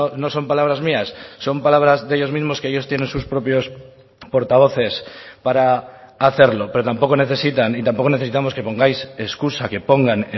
no son palabras mías son palabras de ellos mismos que ellos tienen sus propios portavoces para hacerlo pero tampoco necesitan y tampoco necesitamos que pongáis escusa que pongan